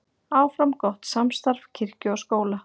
Áfram gott samstarf kirkju og skóla